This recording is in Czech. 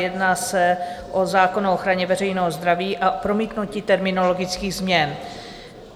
Jedná se o zákon o ochraně veřejného zdraví a promítnutí terminologických změn.